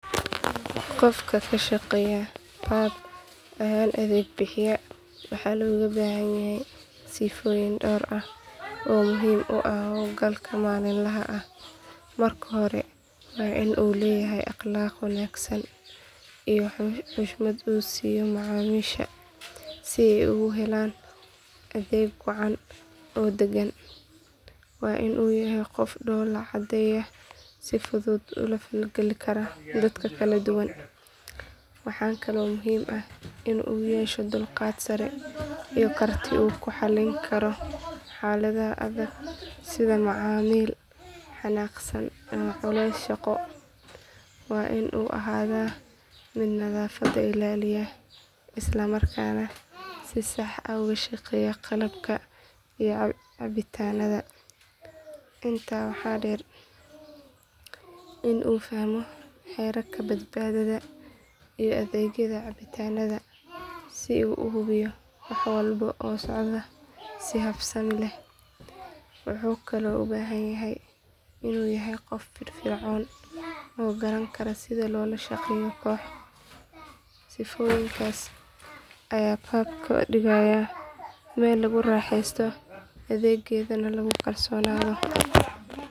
Qofka ka shaqeeya pub ahaan adeeg bixiye waxaa looga baahan yahay sifooyin dhowr ah oo muhiim u ah howlgalka maalinlaha ah. Marka hore waa in uu leeyahay akhlaaq wanaagsan iyo xushmad uu siiyo macaamiisha si ay ugu helaan adeeg wacan oo deggan. Waa in uu yahay qof dhoolla caddeeya si fududna ula falgali kara dad kala duwan. Waxaa kaloo muhiim ah in uu yeesho dulqaad sare iyo karti uu ku xallin karo xaaladaha adag sida macaamiil xanaaqsan ama culeys shaqo. Waa in uu ahaadaa mid nadaafadda ilaaliya isla markaana si sax ah ugu shaqeeya qalabka iyo cabitaanada. Intaas waxaa dheer in uu fahmo xeerarka badbaadada iyo adeegyada cabitaanada si uu u hubiyo in wax walba u socdaan si habsami leh. Wuxuu kaloo u baahan yahay inuu yahay qof firfircoon oo garan kara sida loola shaqeeyo koox. Sifooyinkaas ayaa pub ka dhigaya meel lagu raaxeysto adeeggeedana lagu kalsoonaado.